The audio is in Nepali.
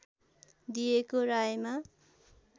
दिएको रायमा